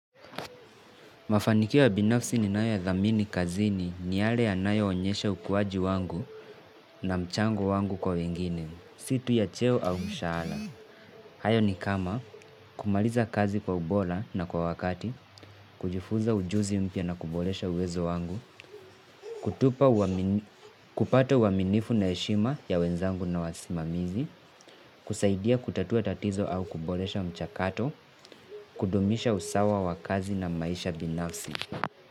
Mafanikio ya binafsi ninayo yadhamini kazini ni yale yanayoonyesha ukuwaji wangu na mchango wangu kwa wengine, situ ya cheo au mshahala. Hayo ni kama kumaliza kazi kwa ubola na kwa wakati, kujifunza ujuzi mpya na kubolesha uwezo wangu, kutupa kupata uaminifu na heshima ya wenzangu na wasimamizi, kusaidia kutatua tatizo au kubolesha mchakato, kudumisha usawa wa kazi na maisha binafsi.